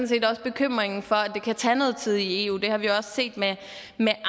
set også bekymringen for at det kan tage noget tid i eu det har vi også set med